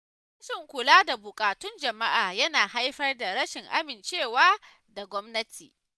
Rashin kula da buƙatun jama’a yana haifar da rashin amincewa da gwamnati.